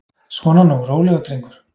Svona nú, rólegur drengur.